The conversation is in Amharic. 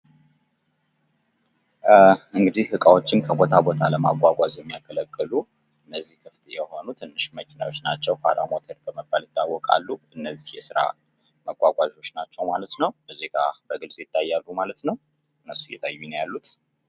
እንግዲህ እቃዎችን ከቦታ ቦታ ለማጓጓዝ የሚያገለግሉ እነዚህ ክፍት የሆኑ ትንሽ መኪናዎች ናቸዉ። ፋራ ሞተር በመባል ይታወቃሉ። እነዚህ የስራ ማጓጓዣዎች ናቸዉ ማለት ነዉ። እዚህ ጋር በግልፅ ይታያሉ ማለት ነዉ።